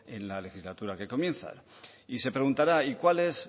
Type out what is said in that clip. en la legislatura que comienza y se preguntará y cuál es